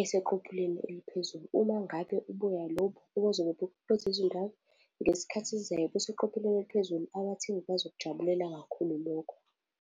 eseqophelweni eliphezulu, uma ngabe ubuya lobu buzobe buphethwe ingane ngesikhathi esizayo buseqophelweni eliphezulu abathengi bazokujabulela kakhulu lokho.